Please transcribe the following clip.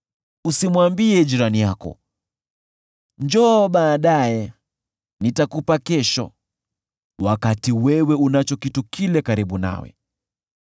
Usimwambie jirani yako, “Njoo baadaye, nitakupa kesho”: wakati wewe unacho kitu kile karibu nawe.